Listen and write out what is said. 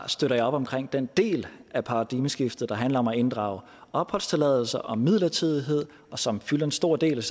støtter op omkring den del af paradigmeskiftet der handler om at inddrage opholdstilladelse og midlertidighed og som fylder en stor del